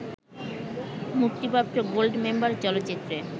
মুক্তিপ্রাপ্ত গোল্ডমেম্বার চলচ্চিত্রে